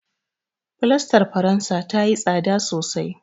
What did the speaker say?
Fulastar faransa tayi tsada sosai.